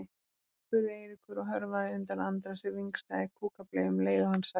spurði Eiríkur og hörfaði undan Andra sem vingsaði kúkableyju um leið og hann sagði